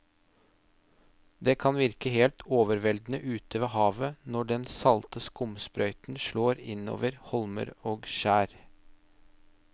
Det kan virke helt overveldende ute ved havet når den salte skumsprøyten slår innover holmer og skjær.